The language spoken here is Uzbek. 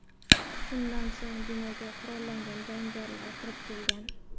Shundan so‘ng binoga qurollangan jangarilar kirib kelgan.